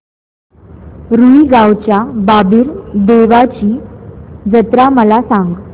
रुई गावच्या बाबीर देवाची जत्रा मला सांग